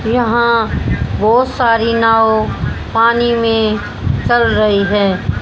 यहां बहुत सारी नाव पानी में चल रही है।